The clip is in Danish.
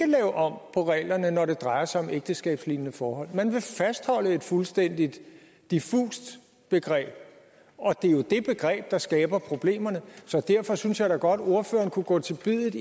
lave om på reglerne når det drejer sig om ægteskabslignende forhold man vil fastholde et fuldstændig diffust begreb og det er jo det begreb der skaber problemerne så derfor synes jeg da godt at ordføreren kunne gå til biddet